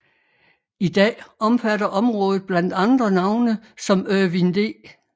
I dag omfatter området blandt andre navne som Irvin D